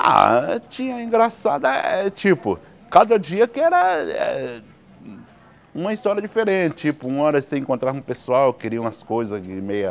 Ah, tinha engraçada eh, tipo, cada dia que era eh uma história diferente, tipo, uma hora você encontrava um pessoal que queria umas coisas meia...